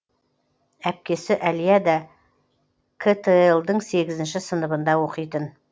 әпкесі әлия да қтл дың сегізінші сыныбында оқитын